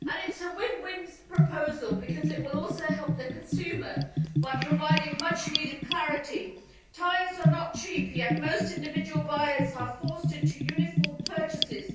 It is a win win proposal, because it will also help the consumer by providing much needed clarity. Tyres are not cheap, yet most individual buyers are forced into uniform purchases.